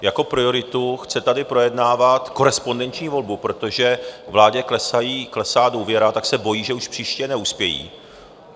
Jako prioritu tady chce projednávat korespondenční volbu, protože vládě klesá důvěra, tak se bojí, že už příště neuspějí.